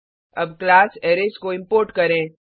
अब class arrays को import करें